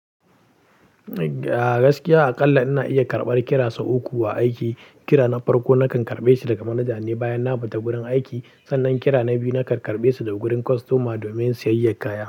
A gaskiya akalla ina iya karɓar kira sau uku a aiki. Kira na farko nakan karɓe shi daga manaja ne bayan na fita gurin aiki. Sannan kira na biyu nakan karɓe su daga gurin kostoma domin sayayyar kaya.